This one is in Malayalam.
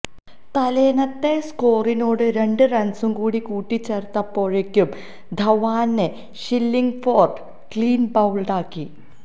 തലേന്നത്തെ സ്കോറിനോട് രണ്ട് റണ്സ്കൂടി കൂട്ടിച്ചേര്ത്തപ്പോഴേക്കും ധവാനെ ഷില്ലിംഗ്ഫോര്ഡ് ക്ലീന് ബൌള്ഡാക്കി